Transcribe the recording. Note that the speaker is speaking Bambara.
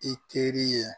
I teri ye